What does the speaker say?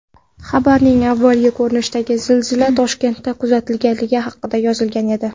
Xabarning avvalgi ko‘rinishida zilzila Toshkentda kuzatilganligi haqida yozilgan edi.